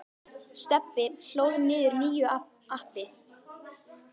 Stebbi hlóð niður nýju appi.